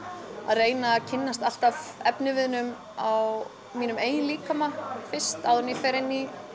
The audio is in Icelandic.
reyna að kynnast alltaf efniviðnum á mínum eigin líkama fyrst áður en ég fer inn í